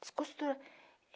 Descostura.